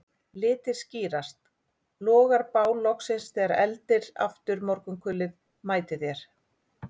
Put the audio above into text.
Litir skýrast, logar bál loksins þegar eldir aftur morgunkulið mætir þér